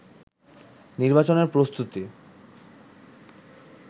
নির্বাচনের প্রস্তুতি